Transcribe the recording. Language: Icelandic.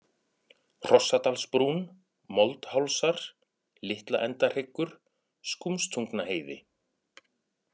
Hrossadalsbrún, Moldhálsar, Litlaendahryggur, Skúmstungnaheiði